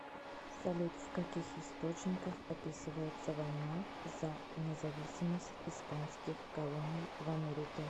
салют в каких источниках описывается война за независимость испанских колоний в америке